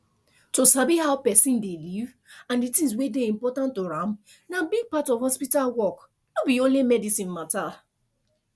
to sabi how person dey live and the things wey dey important to am na big part of hospital work no be only medicine matter